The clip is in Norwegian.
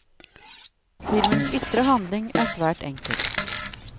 Filmens ytre handling er svært enkel.